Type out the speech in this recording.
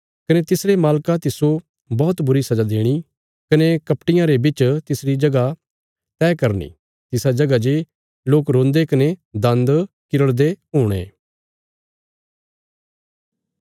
कने तिसरे मालका तिस्सो बौहतबुरी सजा देणी कने कपटियां रे बिच तिसरी जगह तैह करनी तिसा जगह जे लोक रोन्दे कने दान्द किरड़दे हुणे